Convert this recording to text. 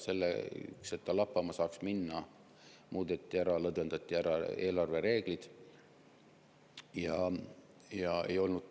Selleks, et ta lappama saaks minna, muudeti ära eelarvereeglid, lõdvendati neid.